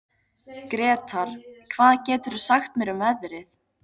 Gretar, hvað geturðu sagt mér um veðrið?